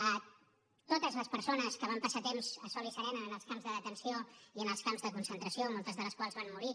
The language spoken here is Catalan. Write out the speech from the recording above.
a totes les persones que van passar temps a sol i serena en els camps de detenció i en els camps de concentració moltes de les quals van morir